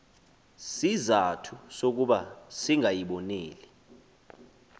sizathu sokuba singayiboneli